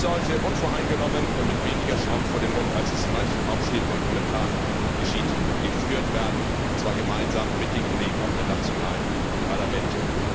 Diese Debatte sollte unvoreingenommen und mit weniger Schaum vor dem Mund, als es in manchen Hauptstädten und Kommentaren geschieht, geführt werden, und zwar gemeinsam mit den Kollegen der nationalen Parlamente.